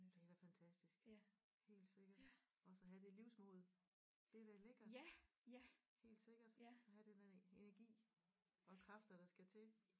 Det er da fantastisk helt sikkert også at have det livsmod det er da lækkert helt sikkert at have den energi og kræfter der skal til